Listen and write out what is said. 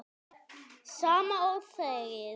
Sama og þegið.